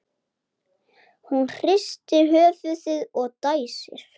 Hún hristir höfuðið og dæsir.